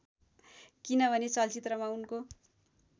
किनभने चलचित्रमा उनको